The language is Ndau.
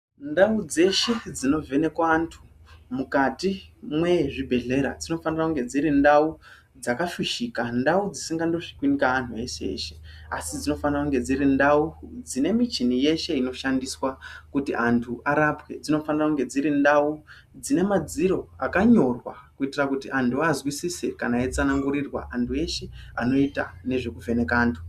Ndau dzeshe dzinovhenekwa antu mukati mwezvibhedhlera dzinofana kunge dziri ndau dzakafushika ndau dzisingandosvikwi ngeantu eshe eshe asi dzinofana kunge dziri ndau dzine michini yeshe inoshandiswa kuti antu arapwe . Dzinofana kunge dziri ndau dzinemadziro akanyorwa kuitira kuti antu azwisise kana eitsanangurirwa antu eshe anoita nezvekuvheneka antu.